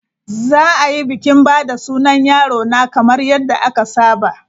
Za a yi bikin ba da sunan yarona kamar yadda aka saba.